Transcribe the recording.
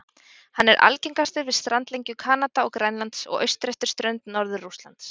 Hann er algengastur við strandlengju Kanada og Grænlands og austur eftir strönd Norður-Rússlands.